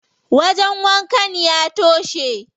Wajen wankan ya toshe.